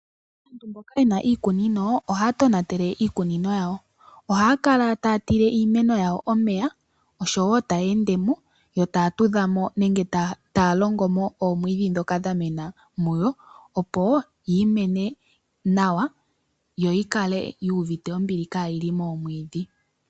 Mboka yena iikunino, ohs ya tonatele iikunino yawo. Ohaa kala ta ya tile iimeno yawo omeya, osho wo ta ya longomo, yo ta ya tudhamo omwiidhi ndhoka dha mena muyo, opo yi mene nawa, yo yi kale, yu uvite ombili, ka yi li momwiidhi.